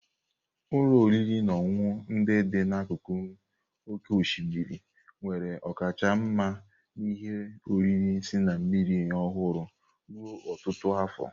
Ụlọ oriri na ọṅụṅụ ndị dị n'akụkụ oké osimiri enwela ọkachamara n'ihe oriri si na mmiri ọhụrụ ruo ọtụtụ afọ.